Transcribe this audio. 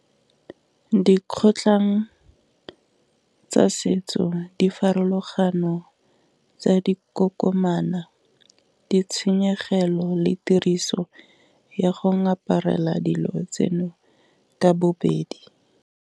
Dikgotlhang tsa setso di farologano tsa dikokomana ditshenyegelo le tiriso ya go ngaparela dilo tseno ka bobedi.